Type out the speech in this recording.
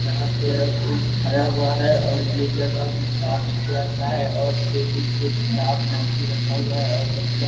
यहाँ पे कोई थरा हुआ है और ये जगह भी साफ-सुथरा सा है और टेबल पे किताब कॉपी रखा हुआ है और बच्चा --